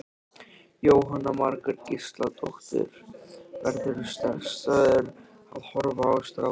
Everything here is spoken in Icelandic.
Jóhanna Margrét Gísladóttir: Verðurðu stressaður að horfa á strákinn?